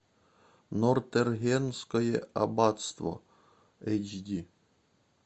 нортенгерское аббатство эйч ди